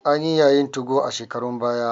Anyi yayin 2go a shekarun baya.